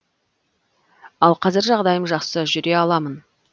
ал қазір жағдайым жақсы жүре аламын